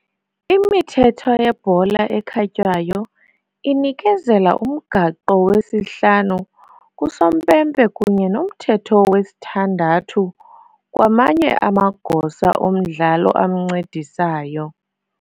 Imithetho yebhola ekhatywayo inikezela uMgaqo wesi-5 kusompempe kunye noMthetho wesi-6 kwamanye amagosa omdlalo amncedisayo